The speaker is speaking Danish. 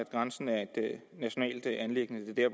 at grænsen er et nationalt anliggende det